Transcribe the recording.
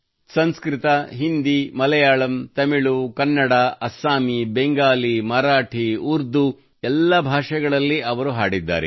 ಸಂಸ್ಕೃತ ಹಿಂದಿ ಮಲಯಾಳಂ ತಮಿಳು ಕನ್ನಡ ಅಥವಾ ಅಸ್ಸಾಮಿ ಬೆಂಗಾಲಿ ಮರಾಠಿ ಉರ್ದು ಎಲ್ಲ ಭಾಷೆಗಳಲ್ಲಿ ಅವರು ಹಾಡಿದ್ದಾರೆ